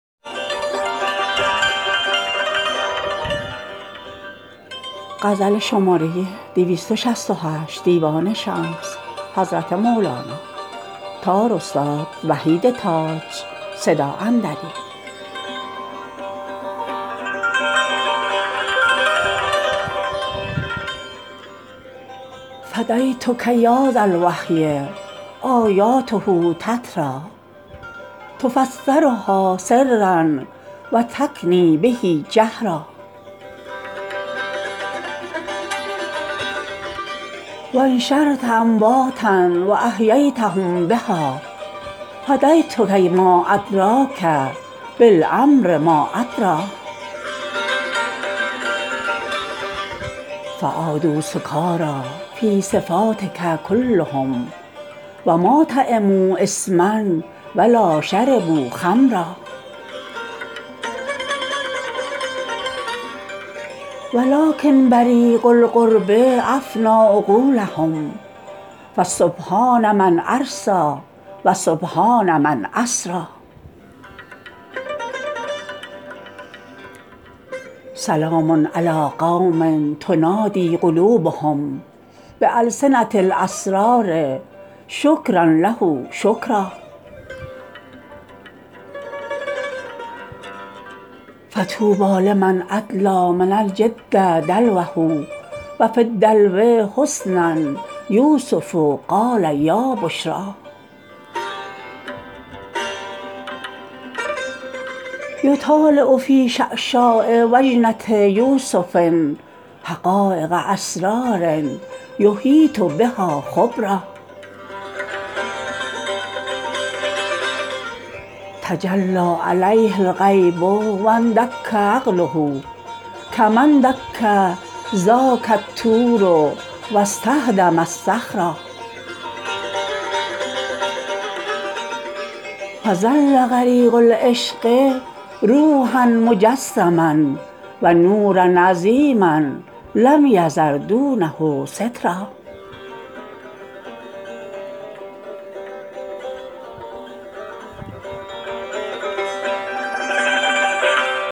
فدیتک یا ذا الوحی آیاته تتری تفسرها سرا و تکنی به جهرا و انشرت امواتا و احییتهم بها فدیتک ما ادریک بالامر ما ادری فعادوا سکاری فی صفاتک کلهم و ما طعموا ثما و لا شربوا خمرا ولکن بریق القرب افنی عقولهم فسبحان من ارسی و سبحان من اسری سلام علی قوم تنادی قلوبهم بالسنه الاسرار شکرا له شکرا فطوبی لمن ادلی من الجد دلوه و فی الدلو حسنا یوسف قال یا بشری یطالع فی شعشاع و جنه یوسف حقایق اسرار یحیط بها خبرا تجلی علیه الغیب و اندک عقله کما اندک ذاک الطور و استهدم الصخرا فظل غریق العشق روحا مجسما و نورا عظیما لم یذر دونه سترا